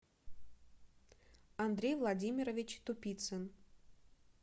андрей владимирович тупицин